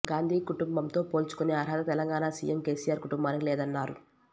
గాంధీ కుటుంబంతో పోల్చుకునే అర్హత తెలంగాణ సీఎం కేసీఆర్ కుటుంబానికి లేదన్నారు